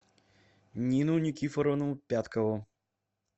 нину никифоровну пяткову